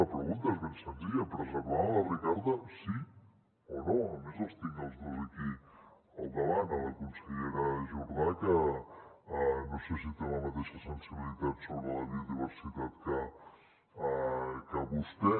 la pregunta és ben senzilla preservaran la ricarda sí o no a més els tinc als dos aquí al davant la consellera jordà que no sé si té la mateixa sensibilitat sobre la biodiversitat que vostè